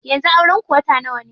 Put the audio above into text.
Yanzu auren ku wata nawa ne?